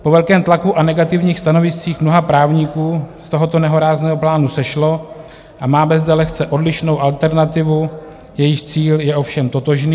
Po velkém tlaku a negativních stanoviscích mnoha právníků z tohoto nehorázného plánu sešlo a máme zde lehce odlišnou alternativu, jejíž cíl je ovšem totožný.